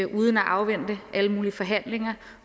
uden at afvente alle mulige forhandlinger